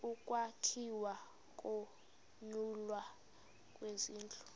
ukwakhiwa nokunyulwa kwezindlu